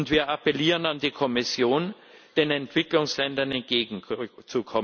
Wir appellieren an die Kommission, den Entwicklungsländern entgegenzukommen.